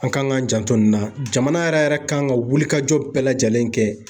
An kan k'an janto nin na, jamana yɛrɛ kan ka wuli kajɔ bɛɛ lajɛlen kɛ.